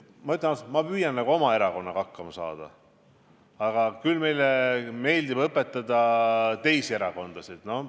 Ma ütlen ausalt, et ma püüan nagu oma erakonnaga hakkama saada, aga üldiselt küll meile meeldib õpetada teisi erakondasid.